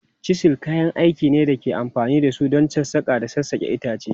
Chisels kayan aiki ne da ake amfani da su don sassaƙa da sassaƙa itace.